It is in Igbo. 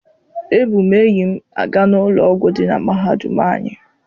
Ebu m enyi m aga n'ụlọ ọgwụ dị na mahadum anyị.